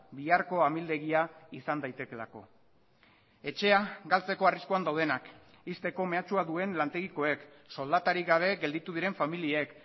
biharko amildegia izan daitekeelako etxea galtzeko arriskuan daudenak ixteko mehatxua duen lantegikoek soldatarik gabe gelditu diren familiek